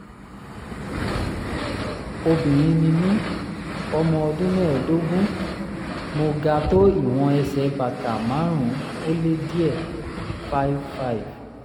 obìnrin ni mí ọmọ ọdún mẹ́ẹ̀ẹ́dógún mo ga tó ìwọ̀n ẹsẹ̀ bàtà márùn-ún-ó-lé-díẹ̀ (5'5")